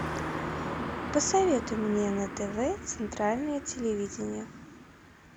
посоветуй мне на тв центральное телевидение